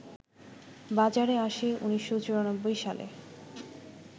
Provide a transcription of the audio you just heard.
বাজারে আসে ১৯৯৪ সালে